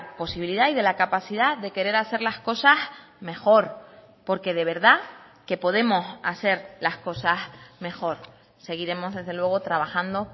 posibilidad y de la capacidad de querer hacer las cosas mejor porque de verdad que podemos hacer las cosas mejor seguiremos desde luego trabajando